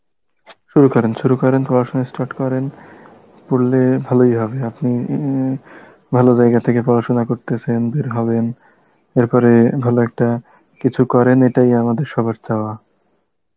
শুরু করেন, শুরু করেন পড়াশোনা start করেন, পড়লে ভালই হবে আপনি উম ভালো জায়গা থেকে পড়াশোনা করতেছেন বের হবেন এরপরে ভালো একটা কিছু করেন এটাই আমাদের সবার চাওয়া